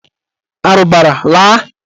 Arụbara laa!